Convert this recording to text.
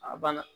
A banna